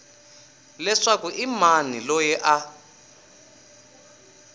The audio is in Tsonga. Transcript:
leswaku i mani loyi a